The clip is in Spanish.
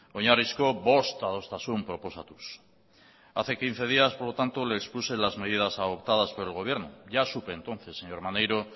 oinarrizko bost adostasun proposatuz hace quince días por lo tanto le expuse las medidas adoptadas por el gobierno ya supe entonces señor maneiro